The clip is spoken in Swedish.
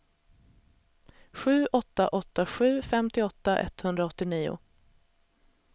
sju åtta åtta sju femtioåtta etthundraåttionio